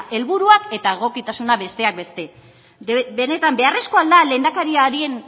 helburuak eta egokitasuna besteak beste benetan beharrezkoa al da lehendakariaren